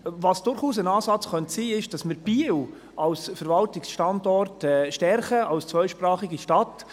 Was durchaus ein Ansatz sein könnte, ist, dass wir Biel als Verwaltungsstandard stärken, als zweisprachige Stadt.